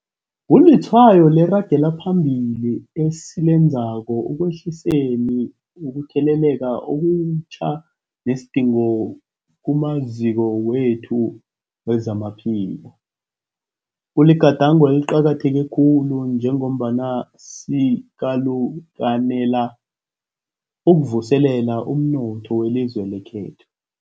Kulitshwayo leragelo phambili esilenzako ekwehliseni ukutheleleka okutjha nesidingo kumaziko wethu wezamaphilo. Kuligadango eliqakatheke khulu njengombana sikalukanela ukuvuselela umnotho welizwe lekhethu.